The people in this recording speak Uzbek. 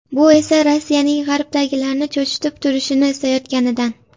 Bu esa Rossiyaning G‘arbdagilarni cho‘chitib turishini istayotganidan.